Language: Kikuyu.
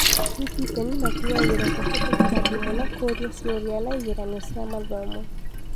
Anyiti itemi wa makinyagĩrwo kũhetũkĩra thimũ na kũũrio ciũria na igeranio cia mathomo